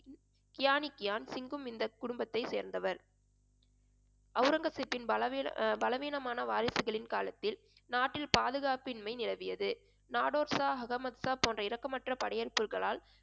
கியானிகியான் சிங்கும் இந்த குடும்பத்தை சேர்ந்தவர் அவுரங்கசீப்பின் பலவீ~ பலவீனமான வாரிசுகளின் காலத்தில் நாட்டில் பாதுகாப்பின்மை நிலவியது நாடோட்ஷா, அகமத்ஷா போன்ற இரக்கமற்ற படையின் குழுக்களால்